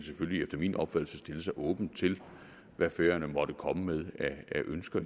efter min opfattelse stille sig åbent til hvad færøerne måtte komme med af ønsker